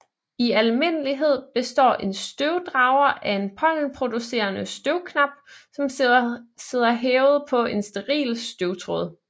I almindelighed består en støvdrager af en pollenproducerende støvknap som sidder hævet på en steril støvtråd